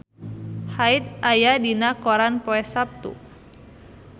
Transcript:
Hyde aya dina koran poe Saptu